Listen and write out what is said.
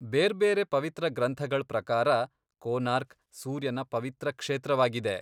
ಬೇರ್ಬೇರೆ ಪವಿತ್ರ ಗ್ರಂಥಗಳ್ ಪ್ರಕಾರ, ಕೋನಾರ್ಕ್ ಸೂರ್ಯನ ಪವಿತ್ರ ಕ್ಷೇತ್ರವಾಗಿದೆ.